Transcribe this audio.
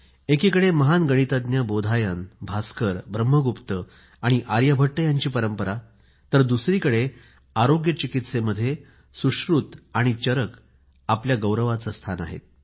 एकीकडे महान गणितज्ञ बोधायन भास्कर ब्रह्मगुप्त आणि आर्यभट्ट यांची परंपरा राहिली तर दुसरीकडे आरोग्य चिकित्सेमध्ये सुश्रुत आणि चरक आपल्या गौरवाचे स्थान आहेत